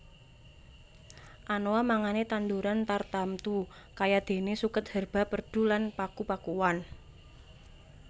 Anoa mangane tanduran tartamtu kayadene suket herba perdu lan paku pakuan